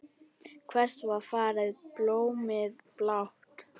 Hvert var farið blómið blátt?